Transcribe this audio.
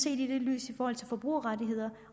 i lyset af forbrugerrettigheder